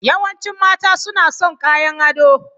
Yawancin mata suna son kayan ado.